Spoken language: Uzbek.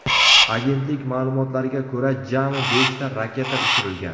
Agentlik ma’lumotlariga ko‘ra, jami beshta raketa uchirilgan.